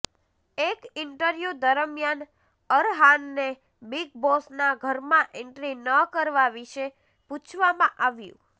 એક ઈન્ટરવ્યૂ દરમિયાન અરહાનને બિગ બોસના ઘરમાં એન્ટ્રી ન કરવા વિશે પૂછવામાં આવ્યું